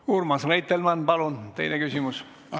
Urmas Reitelmann, palun teine küsimus!